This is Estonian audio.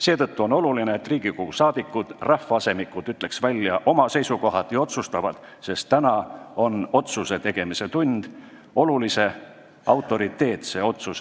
Seetõttu on oluline, et Riigikogu liikmed, rahvaasemikud ütleksid otsustavalt välja oma seisukoha: on käes see tund, kui tuleb teha meie riigile ja rahvale autoriteetne otsus.